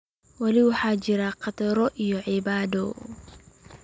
weli waxaa jira khataro iyo caqabado